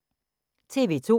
TV 2